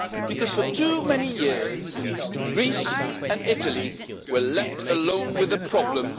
Because for too many years Greece and Italy were left alone with a problem.